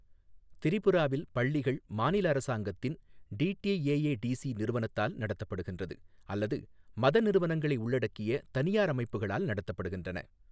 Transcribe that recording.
திரிபுராவில் பள்ளிகள் மாநில அரசாங்கத்தின் டிடிஏஏடிசி நிறுவனத்தால் நடத்தப்படுகின்றது, அல்லது மத நிறுவனங்களை உள்ளடக்கிய தனியார் அமைப்புகளால் நடத்தப்படுகின்றன.